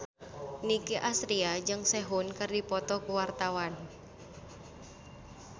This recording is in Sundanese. Nicky Astria jeung Sehun keur dipoto ku wartawan